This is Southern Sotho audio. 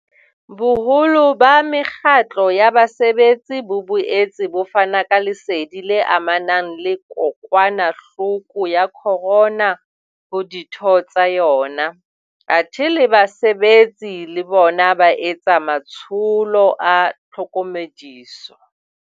Boholo ba mekgatlo ya basebetsi bo boetse bo fana ka lesedi le amanang le kokwanahloko ya corona ho ditho tsa yona, athe le basebetsi le bona ba etsa matsholo a tlhokomediso.